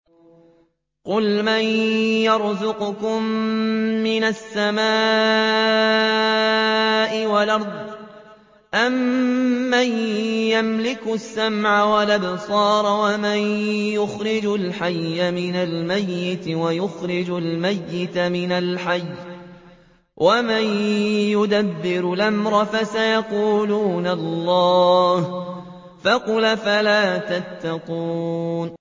قُلْ مَن يَرْزُقُكُم مِّنَ السَّمَاءِ وَالْأَرْضِ أَمَّن يَمْلِكُ السَّمْعَ وَالْأَبْصَارَ وَمَن يُخْرِجُ الْحَيَّ مِنَ الْمَيِّتِ وَيُخْرِجُ الْمَيِّتَ مِنَ الْحَيِّ وَمَن يُدَبِّرُ الْأَمْرَ ۚ فَسَيَقُولُونَ اللَّهُ ۚ فَقُلْ أَفَلَا تَتَّقُونَ